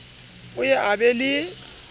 o ye a be le